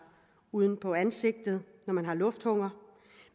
uden på ansigtet når man har lufthunger